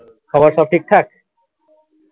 সবার সব ঠিকঠাক?